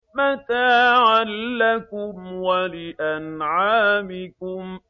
مَّتَاعًا لَّكُمْ وَلِأَنْعَامِكُمْ